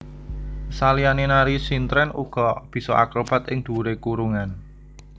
Saliyane nari sintren uga bisa akrobat ing dhuwure kurungan